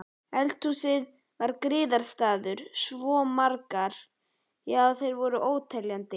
Eldhúsið hennar var griðastaður svo margra, já þeir voru óteljandi.